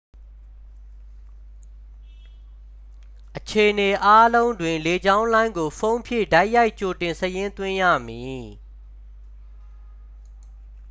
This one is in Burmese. အခြေအနေအားလုံးတွင် လေကြောင်းလိုင်းကို ဖုန်းဖြင့် တိုက်ရိုက် ကြိုတင်စာရင်းသွင်းရမည်